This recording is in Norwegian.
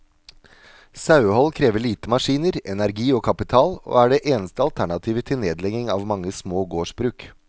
Sauehold krever lite maskiner, energi og kapital, og er det eneste alternativet til nedlegging av mange små gårdsbruk.